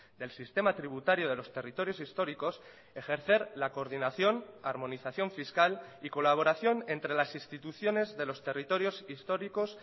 del sistema tributario de los territorios históricos ejercer la coordinación armonización fiscal y colaboración entre las instituciones de los territorios históricos